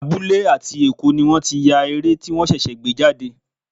Abúlé àti Èkó ni wọ́n ti ya eré tí wọ́n ṣẹ̀ṣẹ̀ gbé jáde.